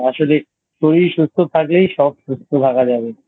আসলে শরীর সুস্থ থাকলেই সব সুস্থ থাকা যাবে